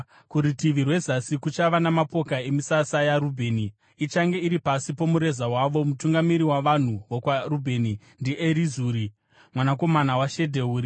Kurutivi rwezasi kuchava namapoka emisasa yaRubheni ichange iri pasi pomureza wavo. Mutungamiri wavanhu vokwaRubheni ndiErizuri mwanakomana waShedheuri.